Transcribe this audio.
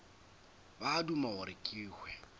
ba duma gore ke hwe